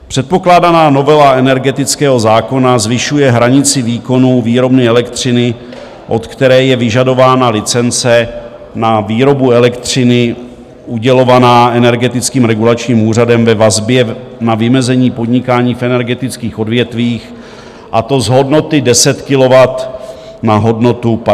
Předpokládaná novela energetického zákona zvyšuje hranici výkonu výrobny elektřiny, od které je vyžadována licence na výrobu elektřiny udělovaná Energetickým regulačním úřadem, ve vazbě na vymezení podnikání v energetických odvětvích, a to z hodnoty 10 kW na hodnotu 50 kW.